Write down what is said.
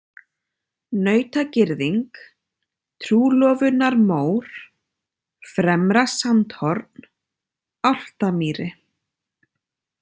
Nautagirðing, Trúlofunarmór, Fremra-Sandhorn, Álftamýri